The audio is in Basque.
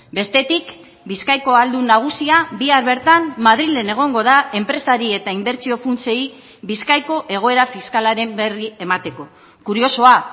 bestetik bizkaiko ahaldun nagusia bihar bertan madrilen egongo da enpresari eta inbertsio funtsei bizkaiko egoera fiskalaren berri emateko kuriosoa